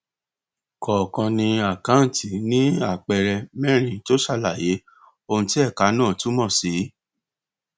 kọọkan àkáǹtì ní àpẹẹrẹ mérin tó ṣàlàyé ohun tí ẹka náà túmọ sí